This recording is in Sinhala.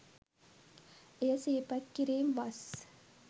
එය සිහිපත් කිරීම් වස්